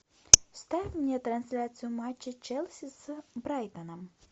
ставь мне трансляцию матча челси с брайтоном